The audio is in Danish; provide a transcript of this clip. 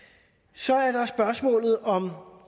så er der spørgsmålet om